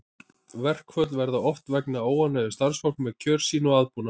Verkföll verða oft vegna óánægju starfsfólks með kjör sín og aðbúnað.